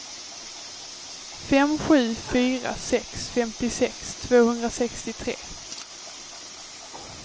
fem sju fyra sex femtiosex tvåhundrasextiotre